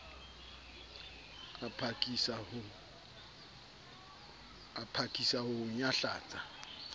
a phakisa ho o nyahlatsa